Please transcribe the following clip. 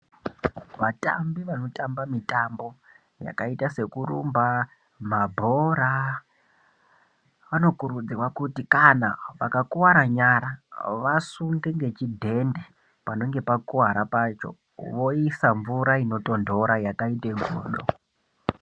Vatambi vanotamba mitambo yakaita sekurumba mabhora vanokurudzirwa kuti kana vakakuwara nyara vasunge ngechidhende panenge pakuwara pacho voisa mvura inotondora yakaita godo.